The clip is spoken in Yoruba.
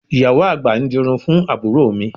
Ìyàwó àgbà ń dirun fún àbúrò mi